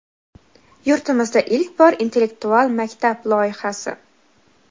Yurtimizda ilk bor "Intellektual maktab" loyihasi!.